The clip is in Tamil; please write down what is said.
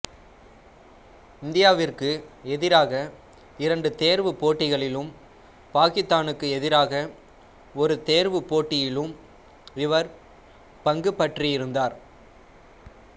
இந்தியாவிற்கு எதிராக இரண்டு தேர்வுப் போட்டிகளிலும் பாக்கித்தானுக்கு எதிராக ஒரு தேர்வுப் போட்டியிலும் இவர் பங்குபற்றியிருந்தார்